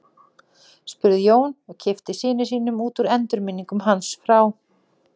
spurði Jón, og kippti syni sínum út úr endurminningum hans frá